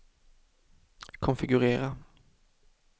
konfigurera